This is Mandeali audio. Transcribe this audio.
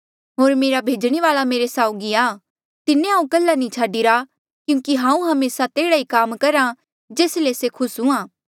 होर मेरा भेजणे वाल्आ मेरे साउगी आ तिन्हें हांऊँ कल्हा नी छाडीरा क्यूंकि हांऊँ हमेसा तेह्ड़ा ई काम करहा जेस ले से खुस हुंहा